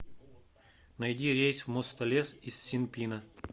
найди рейс в мостолес из синпина